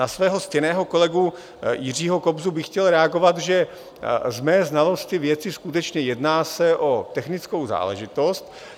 Na svého ctěného kolegu Jiřího Kobzu bych chtěl reagovat, že z mé znalosti věci skutečně jedná se o technickou záležitost.